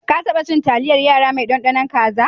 Ka taba cin taliyar yara mai ɗanɗanon kaza?